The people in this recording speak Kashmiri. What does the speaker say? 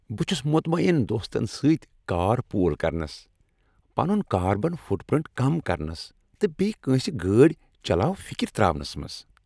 بہٕ چھس مطمعین دوستن سۭتۍ کار پول کرنس، پنن کاربن فٹ پرنٹ کم کرنس، تہٕ بییہ کٲنسہ گٲڑۍ چلاوفکر تراونس منٛز۔